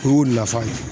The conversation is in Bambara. O y'u nafa ye